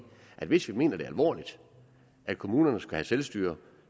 at hvis vi mener det alvorligt at kommunerne skal have selvstyre